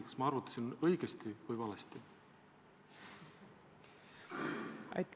Kas ma arvutasin õigesti või valesti?